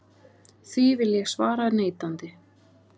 Því vil ég svara neitandi.